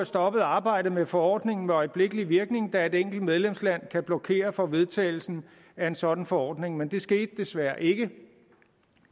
stoppet arbejdet med forordningen med øjeblikkelig virkning da et enkelt medlemsland kan blokere for vedtagelsen af en sådan forordning men det skete desværre ikke